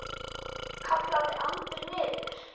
kallaði Andri niður.